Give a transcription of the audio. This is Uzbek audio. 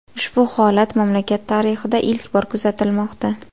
Ushbu holat mamlakat tarixida ilk bor kuzatilmoqda.